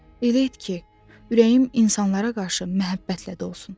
Elə et ki, ürəyim insanlara qarşı məhəbbətlə dolsun.